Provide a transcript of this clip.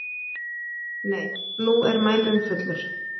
Nei, nú er mælirinn fullur.